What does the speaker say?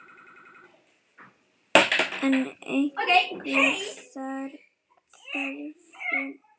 En hver er þörfin?